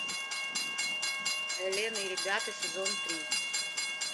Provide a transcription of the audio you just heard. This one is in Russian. элен и ребята сезон три